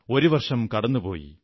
ഒരു വർഷം കടന്നു പോയി